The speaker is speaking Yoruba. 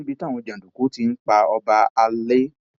níbi tí àwọn jàǹdùkú ti ń pa ọba alay